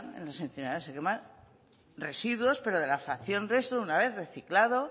en las incineradoras se queman residuos pero de la fracción resto una vez reciclado